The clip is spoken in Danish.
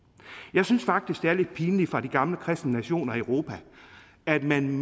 jeg synes faktisk at det er lidt pinligt for de gamle kristne nationer i europa at man